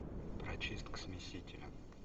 прочистка смесителя